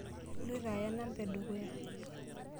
Iloito aya namba edukuya.